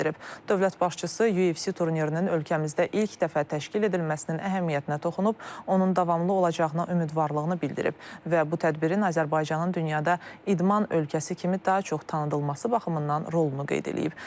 Dövlət başçısı UFC turnirinin ölkəmizdə ilk dəfə təşkil edilməsinin əhəmiyyətinə toxunub, onun davamlı olacağına ümidvarlığını bildirib və bu tədbirin Azərbaycanın dünyada idman ölkəsi kimi daha çox tanınması baxımından rolunu qeyd edib.